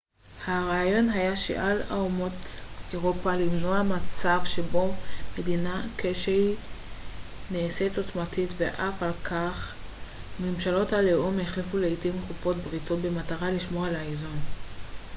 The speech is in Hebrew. הרעיון היה שעל אומות אירופה למנוע מצב שבו מדינה כלשהי נעשית עוצמתית ועל כן ממשלות הלאום החליפו לעיתים תכופות בריתות במטרה לשמור על איזון